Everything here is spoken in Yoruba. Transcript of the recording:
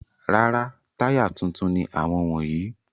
Rárá, táyà tuntun ni àwọn wọ̀nyí.